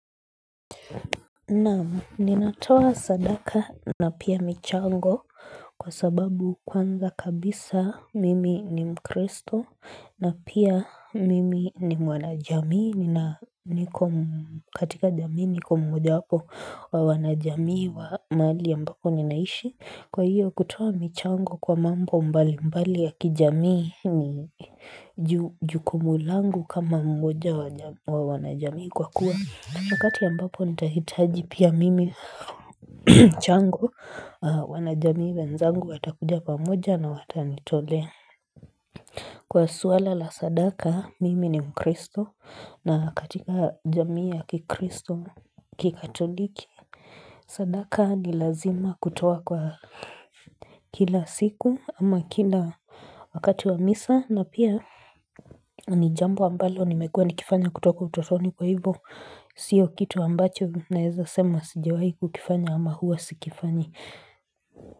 Naam ninatoa sadaka na pia michango kwa sababu kwanza kabisa mimi ni mkristo na pia mimi ni mwana jamii nina niko katika jamii niko mmoja wapo wa wanajamii wa mahali ambapo ninaishi Kwa hiyo kutoa michango kwa mambo mbali mbali ya kijamii ni ju jukumu langu kama mmoja wa wanajamii kwa kuwa wakati ambapo nitahitaji pia mimi chango aah wanajamii wenzangu watakuja pamoja na watanitolea Kwa swala la sadaka mimi ni mkristo na katika jamii ya kikristo kikatoliki sadaka ni lazima kutoa kwa kila siku ama kila wakati wa misa na pia ni jambo ambalo nimekuwa nikifanya kutoka utotoni kwa hivo siyo kitu ambacho naeza sema sijawai kukifanya ama huwa sikifanyi.